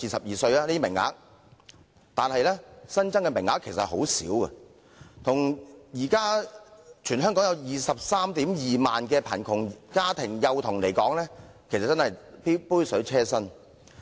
然而，新增名額其實很少，相對於現時全港達 232,000 萬名貧窮家庭幼童來說，只是杯水車薪。